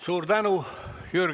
Suur tänu!